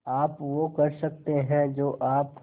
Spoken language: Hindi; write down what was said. आप वो कर सकते हैं जो आप